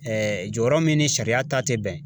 jɔyɔrɔ min ni sariya ta te bɛn.